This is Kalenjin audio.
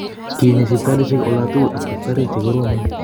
Kinyi sipitalishek olatukul ak taktariek che koromeen